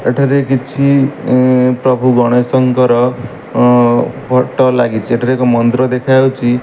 ଏଠାରେ କିଛି ପ୍ରଭୁ ଗଣେଶଙ୍କର ଫଟ ଲାଗିଛି ଏଠାରେ ଏକ ମନ୍ଦିର ଦେଖା ଯାଉଚି।